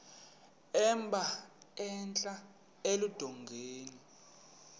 emba entla eludongeni